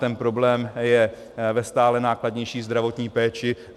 Ten problém je ve stále nákladnější zdravotní péči.